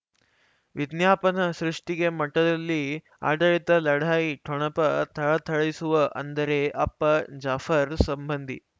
ವಿಜ್ಞಾಪನ ಸೃಷ್ಟಿಗೆ ಮಠದಲ್ಲಿ ಆಡಳಿತ ಲಢಾಯಿ ಠೊಣಪ ಥಳಥಳಿಸುವ ಅಂದರೆ ಅಪ್ಪ ಜಾಫರ್ ಸಂಬಂಧಿ